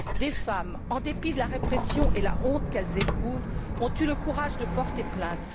Des femmes, en dépit de la répression et de la honte qu'elles éprouvent, ont eu le courage de porter plainte.